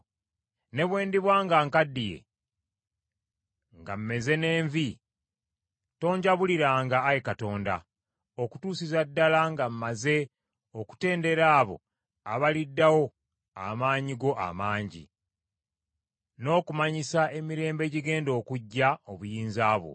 Ne bwe ndiba nga nkaddiye nga mmeze n’envi, tonjabuliranga, Ayi Katonda, okutuusiza ddala nga mmaze okutendera abo abaliddawo amaanyi go amangi, n’okumanyisa emirembe egigenda okujja obuyinza bwo.